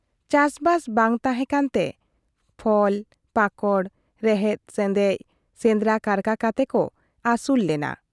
ᱪᱟᱥᱵᱟᱥ ᱵᱟᱝ ᱛᱟᱦᱮᱸ ᱠᱟᱱᱛᱮ ᱠᱷᱚᱲ ᱯᱟᱠᱚᱲ, ᱨᱮᱦᱮᱫ ᱥᱮᱪᱮᱫ, ᱥᱮᱸᱫᱽᱨᱟ ᱠᱟᱨᱠᱟ ᱠᱟᱛᱮᱠᱚ ᱟᱹᱥᱩᱞ ᱞᱮᱱᱟ ᱾